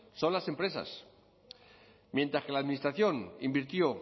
son las empresas mientras que la administración invirtió